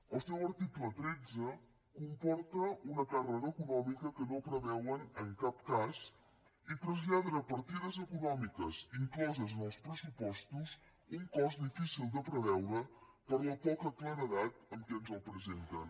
el seu article tretze comporta una càrrega econòmica que no preveuen en cap cas i traslladen a partides econòmiques incloses en els pressupostos un cost difícil de preveure per la poca claredat amb què ens el presenten